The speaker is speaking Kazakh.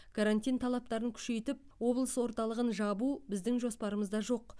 карантин талаптарын күшейтіп облыс орталығын жабу біздің жоспарымызда жоқ